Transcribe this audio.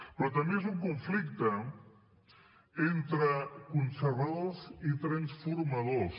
però també és un conflicte entre conservadors i transformadors